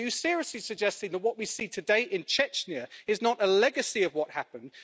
Are you seriously suggesting that what we see today in Chechnya is not a legacy of what happened?